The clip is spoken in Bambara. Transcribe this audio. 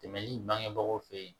Dɛmɛli bangebagaw fɛ yen